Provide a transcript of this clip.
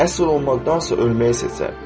Əsir olmaqdansa ölməyi seçər.